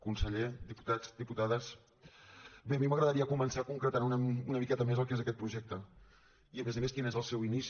conseller diputats diputades bé a mi m’agradaria començar concretant una miqueta més el que és aquest projecte i a més a més quin és el seu inici